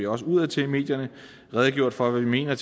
også udadtil i medierne redegjort for hvad vi mener